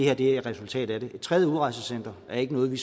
er et resultat af det et tredje udrejsecenter er ikke noget vi